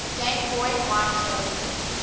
game boy micro